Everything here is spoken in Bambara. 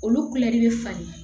Olu bɛ falen